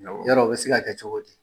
Yɔrɔ o bi se ka kɛ cogo di ?